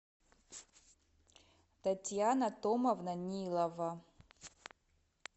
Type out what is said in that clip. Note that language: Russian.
татьяна томовна нилова